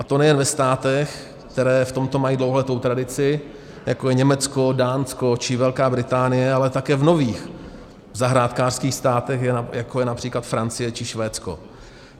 A to nejen ve státech, které v tomto mají dlouholetou tradici, jako je Německo, Dánsko či Velká Británie, ale také v nových zahrádkářských státech, jako je například Francie či Švédsko.